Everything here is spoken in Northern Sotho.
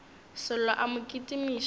sello a mo kitimiša ka